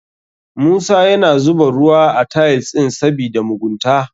Musa yana zuba ruwa a tiles ɗin sabida mugunta.